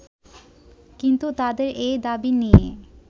কিন্তু তাদের এই দাবি নিয়ে